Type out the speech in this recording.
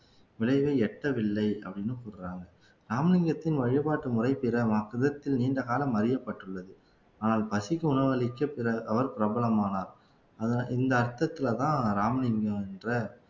விளைவை எட்டவில்லை அப்படின்னு சொல்றாங்க ராமலிங்கத்தின் வழிபாட்டு முறையில் நீண்ட காலம் அறியப்பட்டுள்ளது ஆனால் பசிக்கு உணவளிக்க பிறர் அவர் பிரபலமானார் இந்த அர்த்தத்துலதான் ராமலிங்கம் என்ற